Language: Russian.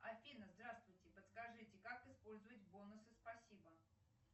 афина здравствуйте подскажите как использовать бонусы спасибо